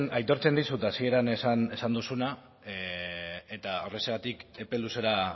aitortzen dizut hasieran esan duzuna eta horrexegatik epe luzera